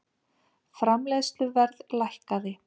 Framleiðsluverð lækkaði